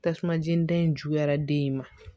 Tasuma jeni da in juguyara den in ma